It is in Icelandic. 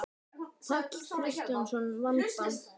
Páll Kristjánsson: Vanda?